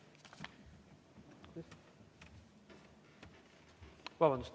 Vabandust!